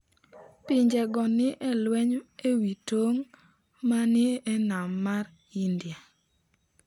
Pinjego ni e lweny e wi tong’ ma ni e nam mar India.